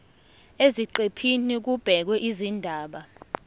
eziqephini kubhekwe izindaba